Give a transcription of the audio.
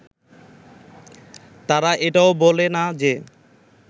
তারা এটাও বলে না যে